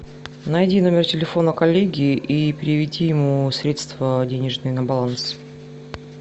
найди номер телефона коллеги и переведи ему средства денежные на баланс